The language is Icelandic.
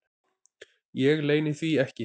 Ég leyni því ekki.